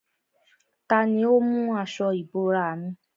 Tani ó mú aṣọ ìbora mi?